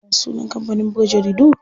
Ya sunan kampanin buga jaridu?